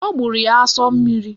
Ọ gbụrụ ya asọ mmiri